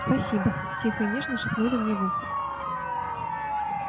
спасибо тихо и нежно шепнули мне в ухо